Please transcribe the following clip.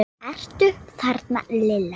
Ertu þarna Lilla? spurði Bella.